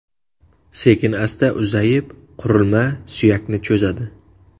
Sekin-asta uzayib, qurilma suyakni cho‘zadi.